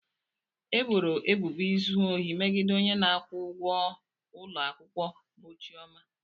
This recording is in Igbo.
E boro ebubo izu ohi megide onye na-akwụ ụgwọ ụlọ akwụkwọ bụ Chioma.